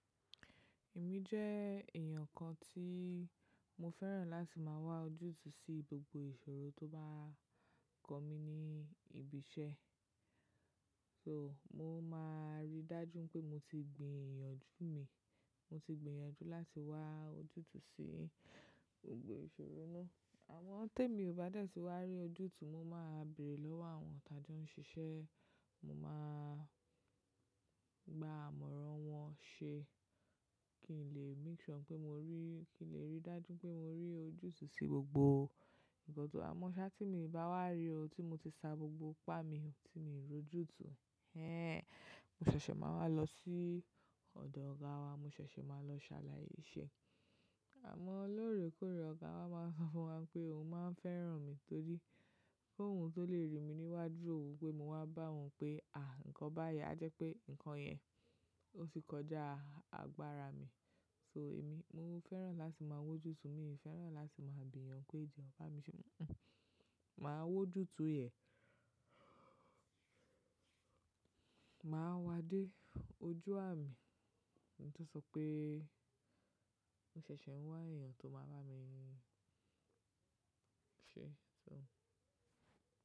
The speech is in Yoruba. Èmi jẹ́ èèyàn kan tí mo fẹ́ràn láti máa wá ojútùú sí gbogbo ìṣòro tó bá kanmi ní ibi iṣẹ́. So mo máa rí dájú pé mo ti gbiyànjú mi, mo ti gbin èèyàn jú láti wá ojútùú sí gbogbo ìṣòro náà. Àwọn tí èmi ò bá dẹ́ti wá rí ojútùú mo máa bèrè lọ́wọ́ àwọn tàbí ó ń ṣiṣẹ́, mo máa gba àmọ̀ràn wọn ṣe kí n lè make sure pé mo rí, kí n lè rí dájú pé mo rí ojútùú sí gbogbo nǹkan tó mọ́ ṣá tí èmi bá wá rí o tí mo ti sa gbogbo ipá mi tí mo ti rọjú tu. Ẹ́n, mo ṣẹ̀ṣẹ̀ máa wá lọ sí ọ̀dọ̀ ọ̀gá wa, mo ṣẹ̀ṣẹ̀ máa lọ ṣàlàyé ṣe. Àmọ́ lóore kóóre ọ̀gá wa máa ń sọ fún wa pé òun máa ń fẹ́ràn mi torí pé k'òun tó lè rí mi níwájú oun pé mo wá bá òun pé à, nǹkan báyìí a jẹ́ pé nǹkan yẹn ó ti kọjá àgbára mi. So èmi mo fẹ́ràn láti máa w'ójú tu, mi ò fẹ́ràn láti máa bi èèyàn pé "jọ ba mi ṣe" hun-un. Máa w'ójú tu yẹ̀n, máa wá dé ojú àmi. Ohun tó sọ pé mo ṣẹ̀ṣẹ̀ ń wá èèyàn tó máa bá mi ṣe so.